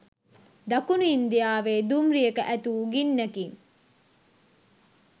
දකුණු ඉන්දියාවේ දුම්රියක ඇතිවූ ගින්නකින්